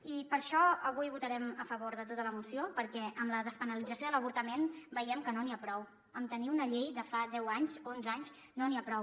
i per això avui votarem a favor de tota la moció perquè amb la despenalització de l’avortament veiem que no n’hi ha prou amb tenir una llei de fa deu anys onze anys no n’hi ha prou